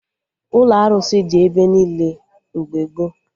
Ụlọ arụsị dị ebe niile mgbe gboo